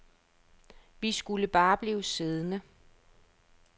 Vi skulle bare blive siddende.